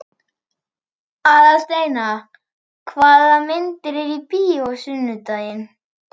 Aðalsteina, hvaða myndir eru í bíó á sunnudaginn?